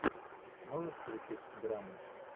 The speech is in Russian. можешь включить драму